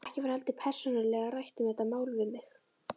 Ekki var heldur persónulega rætt um þetta mál við mig.